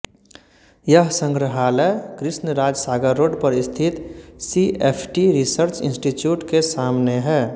यह संग्रहालय कृष्णराज सागर रोड पर स्थित सीएफटी रिसर्च इंस्टीट्यूट के सामने है